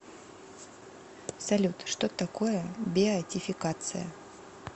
салют что такое беатификация